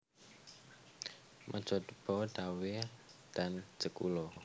Mejobo Dawe dan Jekulo